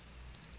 ho teng ba bang ba